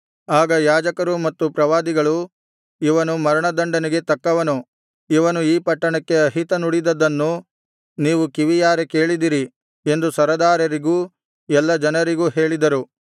ಆಗ ಯಾಜಕರೂ ಮತ್ತು ಪ್ರವಾದಿಗಳೂ ಇವನು ಮರಣದಂಡನೆಗೆ ತಕ್ಕವನು ಇವನು ಈ ಪಟ್ಟಣಕ್ಕೆ ಅಹಿತ ನುಡಿದದ್ದನ್ನು ನೀವು ಕಿವಿಯಾರೆ ಕೇಳಿದಿರೀ ಎಂದು ಸರದಾರರಿಗೂ ಎಲ್ಲಾ ಜನರಿಗೂ ಹೇಳಿದರು